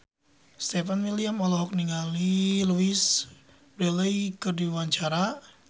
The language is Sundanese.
Stefan William olohok ningali Louise Brealey keur diwawancara